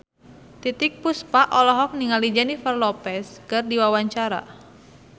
Titiek Puspa olohok ningali Jennifer Lopez keur diwawancara